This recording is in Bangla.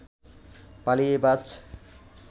পালিয়ে বাঁচ